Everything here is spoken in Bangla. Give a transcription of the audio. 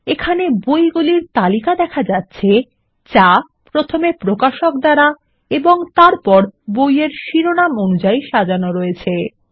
এখানে বই এর তালিকা দেখা যাচ্ছে যা প্রথমে প্রকাশক দ্বারা এবং তারপর বইয়ের শিরোনাম অনুসারে সাজানো রয়েছে